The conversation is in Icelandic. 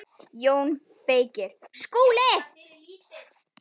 JÓN BEYKIR: Skúli!